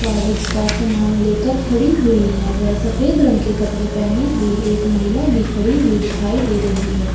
कागज का सामान लेकर खड़ी हुई है वे सफ़ेद रंग के कपडे पहनी हुई एक महिला भी खड़ी हुई दिखाई दे रही है।